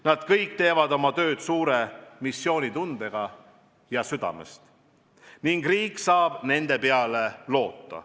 Nad kõik teevad oma tööd suure missioonitundega ja südamest ning riik saab nende peale loota.